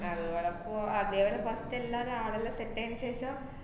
അത്പോല പോ~ അതേപോലെ first എല്ലാരേം ആളുകളെ set ആയേനു ശേഷം,